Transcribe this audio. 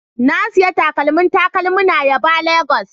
Na sayi takalmin takalmina yaba Lagos